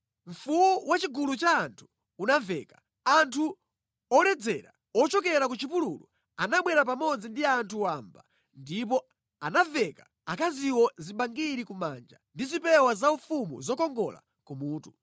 “Mfuwu wa chigulu cha anthu unamveka. Anthu oledzera ochokera ku chipululu anabwera pamodzi ndi anthu wamba ndipo anaveka akaziwo zibangiri kumanja ndi zipewa zaufumu zokongola ku mutu.